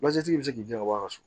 tigi bɛ se k'i dɛmɛ a so